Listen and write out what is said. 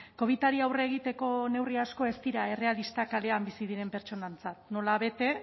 covidari aurre egiteko neurri asko ez dira errealistak kalean bizi diren portsonentzat nola bete